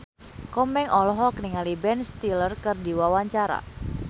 Komeng olohok ningali Ben Stiller keur diwawancara